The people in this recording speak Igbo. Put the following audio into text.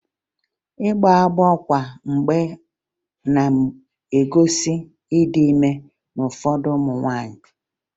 Ịgbọ agbọ kwa mgbe na-egosi ịdị ime n'ụfọdụ ụmụ nwaanyị